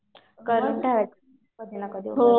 करून ठेवायचं. कधी ना कधी उपयोगी पडतं.